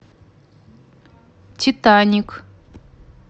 титаник